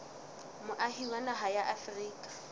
moahi wa naha ya afrika